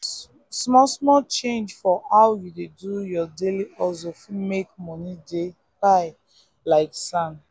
small-small change for how you dey do your daily hustle fit make money dey pile like sand.